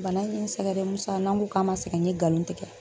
Bana in ye n sɛgɛ dɛ Musa, n'an ko k'an ma sɛgɛ n ye ngalon tigɛ